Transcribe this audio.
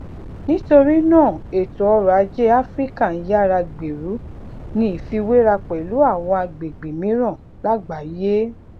nítorí náà ètò ọrò ajé áfíríkà ń yára gbèrú ní ìfiwéra pẹlú àwọn agbègbè mìíràn lágbàáyé